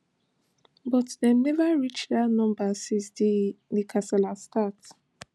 but dem neva reach dat number since di di kasala start